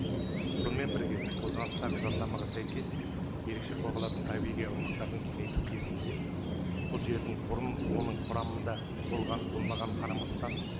сонымен бірге қолданыстағы заңнамаға сәйкес ерекше қорғалатын табиғи аумақтарды кеңейту кезінде бұл жердің бұрын оның құрамында болғаны болмағаны қарамастан